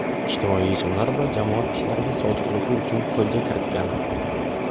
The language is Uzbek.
ijtimoiy yechimlar va jamoat ishlariga sodiqligi uchun qo‘lga kiritgan.